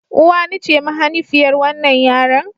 Uwani ce mahanifiyar wannan yaron.